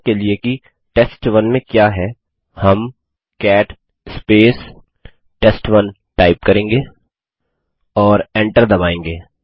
देखने के लिए कि टेस्ट1 में क्या है हम कैट टेस्ट1 करेंगे और एंटर दबायेंगे